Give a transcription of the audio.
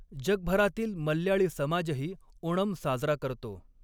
जगभरातील मल्याळी समाजही ओणम साजरा करतो.